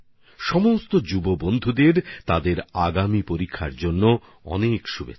সমস্ত নবীন বন্ধুদের আগামী পরীক্ষাগুলির জন্য অনেক অনেক শুভকামনা